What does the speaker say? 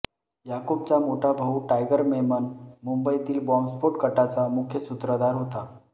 याकूबचा मोठा भाऊ टायगर मेमन मुंबईतील बॉम्बस्फोट कटाचा मुख्य सूत्रधार होता